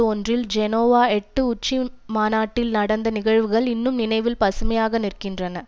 ஒன்றில் ஜெனோவா எட்டு உச்சிமாநாட்டில் நடந்த நிகழ்வுகள் இன்னும் நினைவில் பசுமையாக நிற்கின்றன